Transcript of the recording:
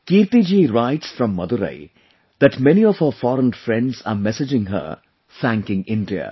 Kirti ji writes from Madurai that many of her foreign friends are messaging her thanking India